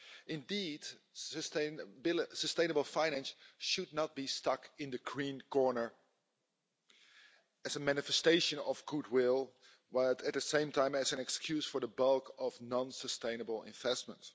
Indeed, sustainable finance should not be stuck in the green corner, as a manifestation of goodwill while, at the same time, as an excuse for the bulk of non sustainable investment.